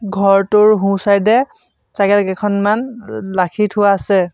ঘৰটোৰ সোঁ-চাইদে এ চাইকেল কেইখনমান লাখি থোৱা আছে।